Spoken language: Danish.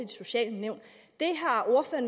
de sociale nævn